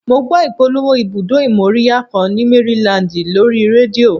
Mo gbọ́ ìpolówó ibùdó ìmóríyá kan ni Maryland lórí rédíò